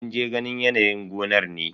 Mun je ganin yanayin gonar ne.